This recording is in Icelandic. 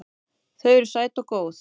Þau eru sæt og góð.